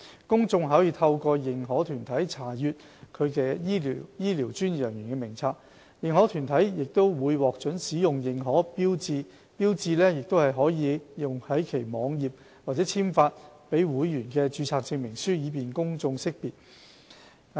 公眾可透過認可團體查閱其醫療專業人員名冊。認可團體會獲准使用認可標誌，標誌可用於其網頁及簽發予會員的註冊證明書，以便公眾識別。